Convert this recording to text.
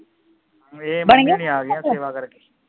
ਇਹ ਮੰਮੀ ਹੋਣੀ ਆਗੀਆਂ ਸੇਵਾ ਕਰਕੇ